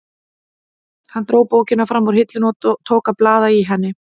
Hann dró bókina fram úr hillunni og tók að blaða í henni.